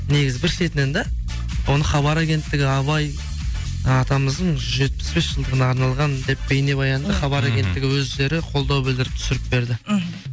негізі бір шетінен да оны хабар агенттігі абай ы атамыздың жүз жетпіс бес жылдығына арналған деп бейнебаянды хабар агенттігі өздері қолдау білдіріп түсіріп берді мхм